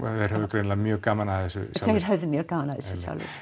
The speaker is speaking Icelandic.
greinilega mjög gaman af þessu sjálfir þeir höfðu mjög gaman af þessu